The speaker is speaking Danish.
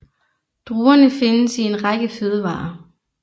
Druerne findes i en række fødevarer